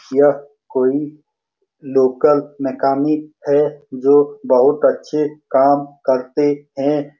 यह कोई local mechanic है जो बहुत अच्छे काम करते हैं।